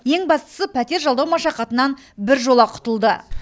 ең бастысы пәтер жалдау машақатынан біржола құтылды